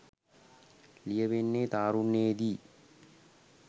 ලියවෙන්නේ තාරුණ්‍යයේ දී.